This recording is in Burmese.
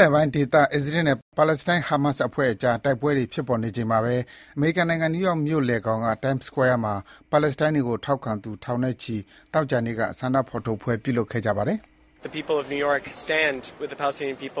လယ်ပိုင်းဒေသ အစ္စရေးနဲ့ ပါလက်စတိုင်း ဟာမတ် အဖွဲ့အကြား တိုက်ပွဲတွေ ဖြစ်ပေါ်နေချိန်မှာဘဲ အမေရိကန်နိုင်ငံ၊ နယူးယောက်မြို့လယ်ခေါင်က Time Square မှာ ပါလက်စတိုင်းတွေကို ထောက်ခံသူ ထောင်နဲ့ချီ သောကြာနေ့က ဆန္ဒဖော်ထုတ်ပွဲ ပြုလုပ်ခဲ့ကြပါတယ်